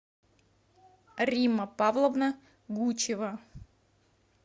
римма павловна гучева